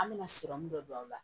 An bɛna dɔ don a la